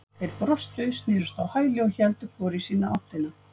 Þeir brostu, snerust á hæli og héldu hvor í sína áttina.